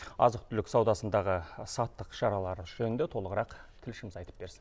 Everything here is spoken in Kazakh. азық түлік саудасындағы сақтық шаралары жөнінде толығырақ тілшіміз айтып берсін